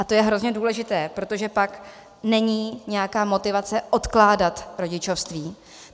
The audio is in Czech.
A to je hrozně důležité, protože pak není nějaká motivace odkládat rodičovství.